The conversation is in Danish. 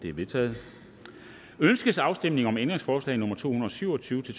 er vedtaget ønskes afstemning om ændringsforslag nummer to hundrede og syv og tyve til